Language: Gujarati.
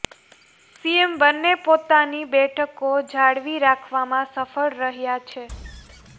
સીએમ બંને પોતાની બેઠકો જાળવી રાખવામાં સફળ રહ્યા છે